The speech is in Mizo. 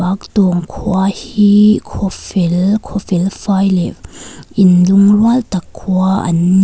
khua hi khaw fel khaw fel fai leh in lungrual tak khua an ni.